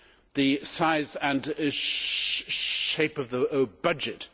the size and shape of the budget